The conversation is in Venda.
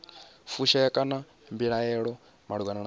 fushea kana mbilaelo malugana na